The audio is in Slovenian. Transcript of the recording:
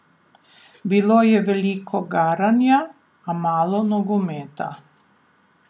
Bilo je veliko garanja, a malo nogometa.